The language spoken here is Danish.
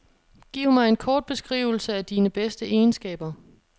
Giv mig en kort beskrivelse af dine bedste egenskaber.